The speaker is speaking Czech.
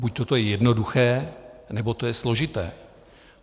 Buďto to je jednoduché, nebo to je složité.